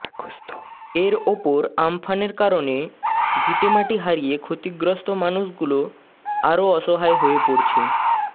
এর ওপর আমফানের কারণে ভিটেমাটি হারিয়ে ক্ষতিগ্রস্ত মানুষগুলো আরও অসহায় হয়ে পড়েছে